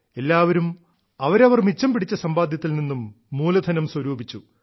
എല്ലാവരും അവരവർ മിച്ചം പിടിച്ച സമ്പാദ്യത്തിൽ നിന്നും മൂലധനം സ്വരൂപിച്ചു